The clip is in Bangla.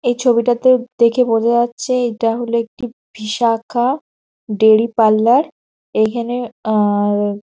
এই ছবিটাতে দেখে বোঝা যাচ্ছে এইটা হলো একটি বিশাখা ডেইলি পার্লার । এইখানে আ-আ --